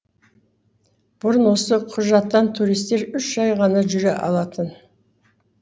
бұрын осы құжаттан туристер үш ай ғана жүре алатын